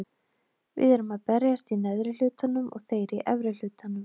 Við erum að berjast í neðri hlutanum og þeir í efri hlutanum.